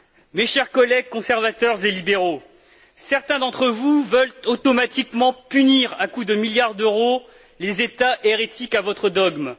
Mes chers collègues conservateurs et libéraux, certains d'entre vous veulent automatiquement punir à coups de milliards d'euros les États hérétiques à votre dogme.